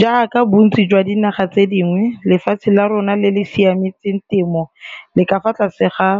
Jaaka bontsi jwa dinaga tse dingwe, lefatshe la rona le le siametseng temo le ka fa tlase ga